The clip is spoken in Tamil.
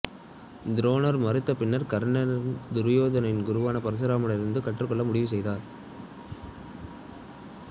துரோணர் மறுத்த பின்னர் கர்ணன் துரோணரின் குருவான பரசுராமர் இடமிருந்து கற்றுக்கொள்ள முடிவுசெய்தார்